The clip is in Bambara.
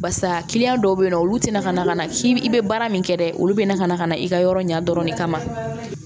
Barisa dɔw be yen nɔ olu tɛna na ka na i be baara min kɛ dɛ olu be na ka na ka na i ka yɔrɔ ɲɛ dɔrɔn ne kama